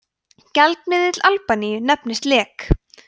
gjaldmiðill albaníu nefnist lek